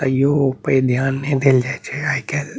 तैयो ओय पे ध्यान ने देल जाय छै आय काल।